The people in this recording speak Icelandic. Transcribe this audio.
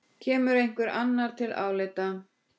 Kemur einhver annar til álita?